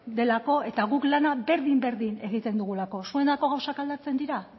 delako eta guk lana berdin berdin egiten dugulako zuentzako gauzak aldatzen dira